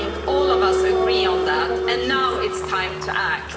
All of us agree on that, and now it's time to act.